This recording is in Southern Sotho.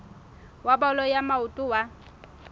wa bolo ya maoto wa